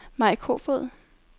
Mai Kofod